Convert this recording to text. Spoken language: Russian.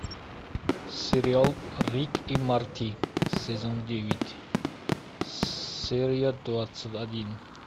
сериал рик и морти сезон девять серия двадцать один